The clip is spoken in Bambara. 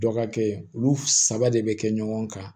Dɔ ka kɛ olu saba de bɛ kɛ ɲɔgɔn kan